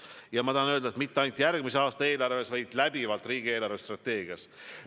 Ja ma tahan öelda, et see pole nii mitte ainult järgmise aasta eelarves, vaid läbivalt riigi eelarvestrateegias.